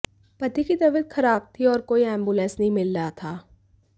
पति की तबीयत खराब थी और कोई एंबुलेंस नहीं मिल रहा था